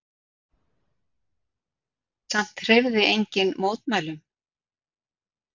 Samt hreyfði enginn mótmælum.